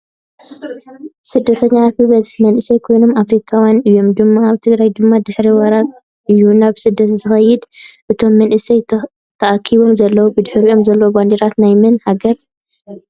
ስድተኛታት ብበዝሒ መንኣሰይ ኮይኖም ኣፍሪካውያን እዮም ድማ ኣብ ትግራይ ድማ ድሕሪ ወራር እዩ ናብ ስደት ዝከይድ ። እቶም መንኣሰይ ተኣኪቦም ዘለው ብድሕሪኦም ዘሎ ባንዴራ ናይመን ሃገር እዩ ?